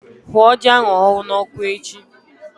Hụọ ji ahụ n'ọkụ echi!